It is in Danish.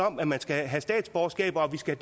om at man skal have statsborgerskab og at vi skal